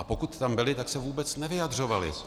A pokud tam byli, tak se vůbec nevyjadřovali.